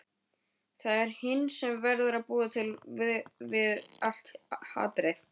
Það er hinn sem verður að búa við allt hatrið.